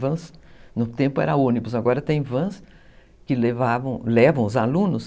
Vans, no tempo era ônibus, agora tem vans que levam os alunos.